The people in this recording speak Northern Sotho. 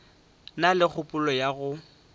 na le kgopolo ya go